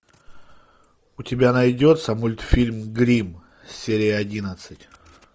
у тебя найдется мультфильм гримм серия одиннадцать